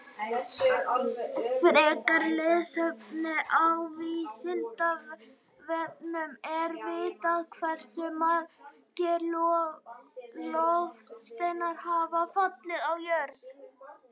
Frekara lesefni á Vísindavefnum: Er vitað hversu margir loftsteinar hafa fallið á jörðina?